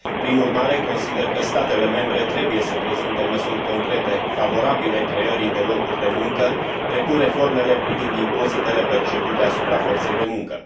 Prin urmare, consider că statele membre trebuie să prezinte măsuri concrete, favorabile creării de locuri de muncă, precum reformele privind impozitele percepute asupra forței de muncă.